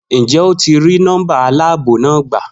Njẹ o ti ri nọmba aláàbò na gba?